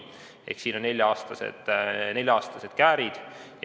Ehk siin on nelja-aastased käärid.